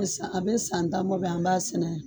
A san a bɛ san tan bɔ bi an b'a sɛnɛ.